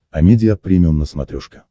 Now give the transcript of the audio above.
амедиа премиум на смотрешке